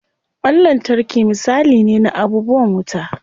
Ƙwan lantarki misali ne na abubuwan wuta.